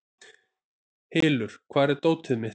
Hylur, hvar er dótið mitt?